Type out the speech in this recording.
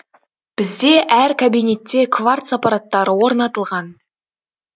бізде әр кабинетте кварц аппараттары орнатылған